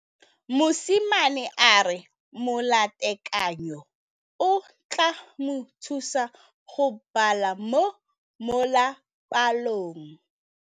Mosimane a re molatekanyô o tla mo thusa go bala mo molapalong.